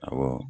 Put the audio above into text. Awɔ